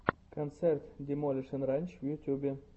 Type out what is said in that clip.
концерт демолишен ранч в ютубе